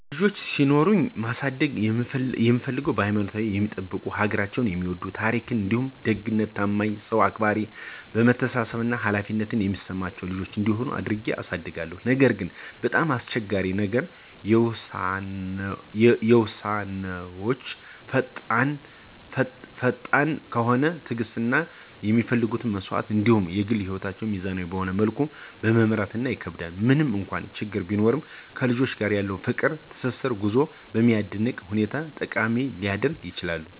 ልጆች ሲኖሩኝ ማሳደግ እምፍልገው ሀይማኖታቸውን የሚጠብቁ፣ ሀገራቸውን የሚወድ፣ ታራካቸዉን እንዲሁም ደግነት፣ ታማኝነት፣ ሰዉ አክባራነት፣ መተሳሰብ እና ኃላፊነትን የሚሰማቸው ልጆች እንዲሆኑ አድርጌ አሳድጋለሁ። ነገር ግን፣ በጣም አስቸጋሪው ነገር ለዉሳነወች ፈጣን ከሆነ፣ ትዕግስት እና የሚፈለጉ መስዋዕቶች እንዲሁም የግል ህይወትን ሚዛናዊ በሆነ መልኩ መምራት ይከከብዳል። ምንም እንኳን ችግሮች ቢኖሩም ከልጆች ጋር ያለው ፍቅር እና ትስስር ጉዞውን በሚያስደንቅ ሁኔታ ጠቃሚ ሊያደርገውም ይችላል።